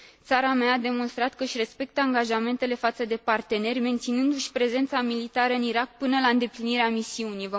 Țara mea a demonstrat că își respectă angajamentele față de parteneri, menținându și prezența militară în Irak până la îndeplinirea misiunii.